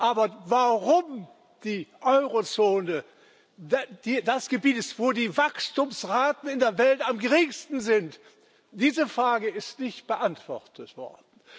Aber warum die Eurozone das Gebiet ist, wo die Wachstumsraten in der Welt am geringsten sind, diese Frage ist nicht beantwortet worden.